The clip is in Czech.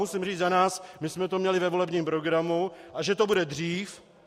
Musím říct za nás, my jsme to měli ve volebním programu - a že to bude dřív?